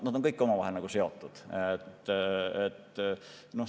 Need on kõik omavahel seotud.